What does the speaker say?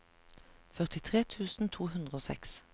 førtitre tusen to hundre og seks